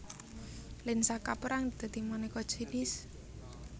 Lensa kaperang dadi maneka jinis